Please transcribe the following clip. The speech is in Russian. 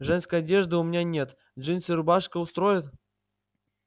женской одежды у меня нет джинсы и рубашка устроят